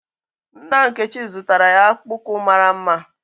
Nna Nkechi zụtara ya akpụkpọ ụkwụ mara mma.